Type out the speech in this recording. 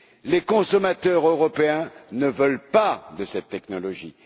Les consommateurs européens ne veulent pas de cette technologie.